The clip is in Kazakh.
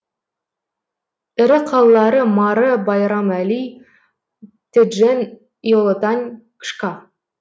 ірі қалалары мары байрам али теджен иолотань кшка